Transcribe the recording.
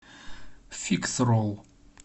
фикс ролл